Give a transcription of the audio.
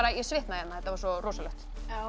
ég svitnaði hérna þetta var svo rosalegt